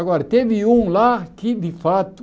Agora, teve um lá que de fato...